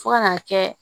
Fo ka n'a kɛ